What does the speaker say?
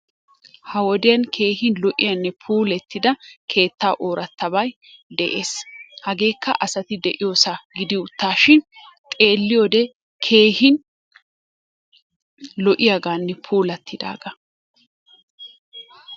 Ha wodiyaan keehi lo'yanne puulattida keetta ooratabay de'es. Hagekka asatti de'iyossa gidi uttashin xeeliyode keehin lo'yaganne puulatidaga.